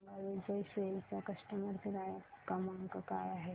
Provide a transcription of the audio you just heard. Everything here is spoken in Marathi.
मला सांगा विजय सेल्स चा कस्टमर केअर क्रमांक काय आहे